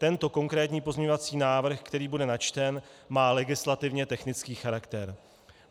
Tento konkrétní pozměňovací návrh, který bude načten, má legislativně technický charakter.